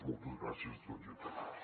moltes gràcies a tots i a totes